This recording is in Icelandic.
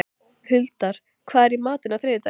Huldar, hvað er í matinn á þriðjudaginn?